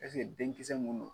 Eseke denkisɛsɛ mun don